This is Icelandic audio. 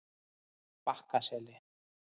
Bakkaseli